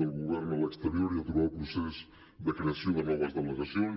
del govern a l’exterior i aturar el procés de creació de noves delegacions